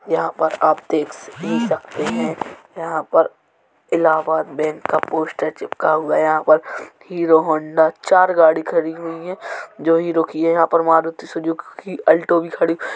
यहां पर आप देखस देख सकते हैं। यहां पर इलाबाद बैंक का पोस्टर चिपका हुआ है। यहां पर हीरो होंडा चार गाड़ी खड़ी हुई हैं जो हीरो की हैं। यहां पर मारुति सुजुकी कि अलटो भी खड़ी --